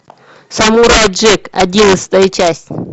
самурай джек одиннадцатая часть